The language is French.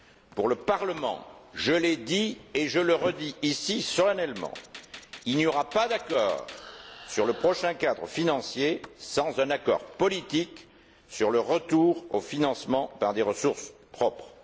Pour le Parlement je l'ai dit et le redis ici solennellement il n'y aura pas d'accord sur le prochain cadre financier sans un accord politique sur le retour au financement par des ressources propres.